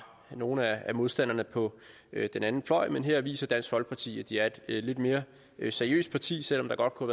nogle af modstanderne på den anden fløj men her viser dansk folkeparti at de er et lidt mere seriøst parti selv om der godt kunne